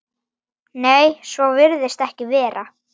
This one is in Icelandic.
Nei, svo virðist ekki vera.